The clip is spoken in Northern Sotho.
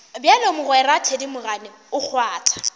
bjalo mogwera thedimogane o kgwatha